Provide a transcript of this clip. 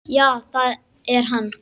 Já það er hann.